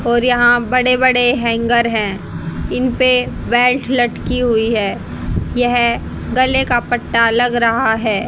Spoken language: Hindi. और यहां बड़े बड़े हैंगर है इनपे वेल्ट लटकी हुई है यह गले का पट्टा लग रहा है।